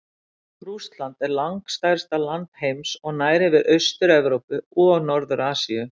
Rússland er langstærsta land heims og nær yfir Austur-Evrópu og Norður-Asíu.